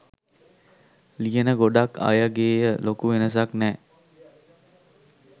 ලියන ගොඩක් අයගෙය ලොකු වෙනසක් නෑ